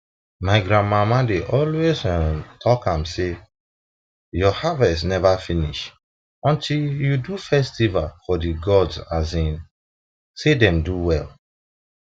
my grandmama dey always um talk um am say your harvest never finish until you do festival for the gods um say dem do well